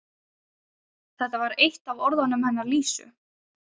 Þetta var eitt af orðunum hennar Lísu.